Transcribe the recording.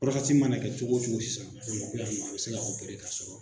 ma na kɛ cogo cogo sisan a be se ka ka sɔrɔ